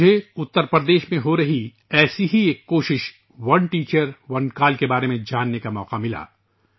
مجھے اتر پردیش میں ہو رہی ایسی ہی ایک کوشش اونے ٹیچر، اونے کال کے بارے میں جاننے کا موقع ملا